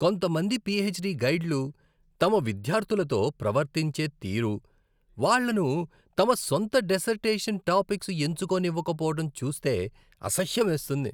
కొంతమంది పీహెచ్డీ గైడ్లు తమ విద్యార్థులతో ప్రవర్తించే తీరు, వాళ్ళను తమ సొంత డిసెర్టేషన్ టాపిక్స్ ఎంచుకోనివ్వకపోవడం చూస్తే అసహ్యమేస్తుంది.